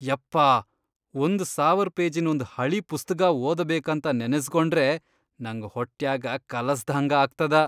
ಯಪ್ಪಾ ಒಂದ್ ಸಾವರ್ ಪೇಜಿನ್ ಒಂದ್ ಹಳೀ ಪುಸ್ತಗಾ ಓದಬೇಕಂತ ನೆನಸ್ಗೊಂಡ್ರೇ ನಂಗ್ ಹೊಟ್ಯಾಗ ಕಲಸದ್ಹಂಗ ಆಗ್ತದ.